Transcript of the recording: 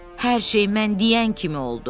Hər şey mən deyən kimi oldu.